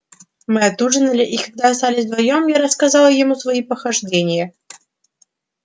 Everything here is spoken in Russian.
мы отужинали и когда остались вдвоём я рассказал ему свои похождения